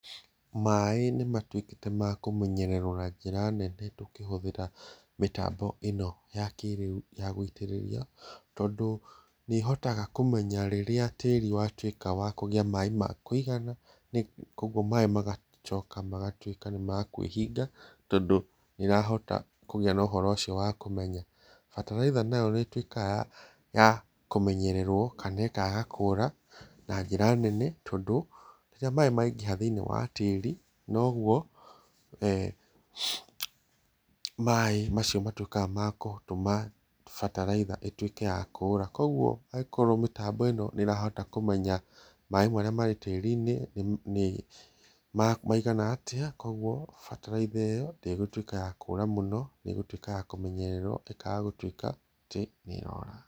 Maaĩ nĩmatuĩkĩte ma kũmenyererwo na njĩra nene tũkĩhũthĩra mĩtambo ĩno ya kĩrĩu ya gũitĩrĩria tondu nĩ ĩhotaga kũmenya rĩrĩa tĩĩri watuĩka wa kũgĩa maaĩ ma kũigana, koguo maaĩ magacoka magatuĩka nĩ makũĩhinga tondu nĩ ĩrahota kũgĩa na uhoro ũcio wa kũmenya. Bataraitha nayo nĩ ĩtuĩkaga ya kũmenyererwo kana ĩkaga kũũra na njĩra nene tondũ rĩrĩa maaĩ maingĩha thĩini wa tĩĩri, noguo eh maaĩ macio matuĩkaga ma gũtũma bataraitha ĩtuĩke ya kũũra. Koguo angĩkorwo mĩtambo ĩno nĩ ĩrahota kũmenya maaĩ marĩa marĩ tĩĩri-inĩ nĩ maigana atĩa, koguo bataraitha ĩyo ndĩgíũtuika ya kũũra mũno, nĩ ĩgũtuika ya kũmenyererwo, ĩkaaga gũtuika atĩ nĩ ĩrora.